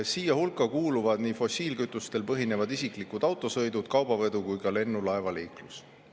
Siia hulka kuuluvad nii fossiilkütustel põhinevad isiklikud autosõidud, kaubavedu kui ka lennu- ja laevaliiklus.